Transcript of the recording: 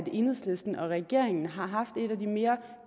enhedslisten og regeringen har haft et af de mere